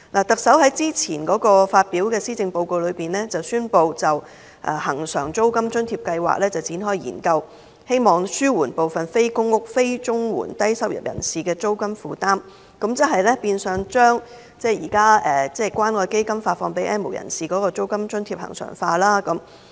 特首在早前發表的施政報告中，宣布展開對恆常現金津貼計劃的研究，希望紓緩部分非公屋、非綜援的低收入人士的租金負擔，變相將現時關愛基金發放予 "N 無人士"的現金津貼恆常化。